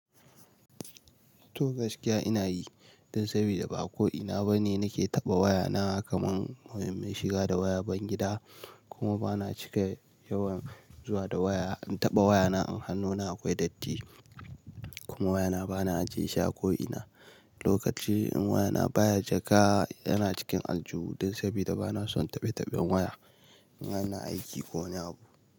To gaskiya ina yi dan sabida ba ko ina bane nake taɓa wayana kaman shiga da waya bayangida, kuma bana cika yawan zuwa da waya in taɓa wayana in hannuna akwai datti kuma wayana bana ajiye shi a ko'ina. Lokaci in wayana baya jaka yana cikin aljihu dan sabida bana son taɓe taɓen waya in ana aiki ko wani abu.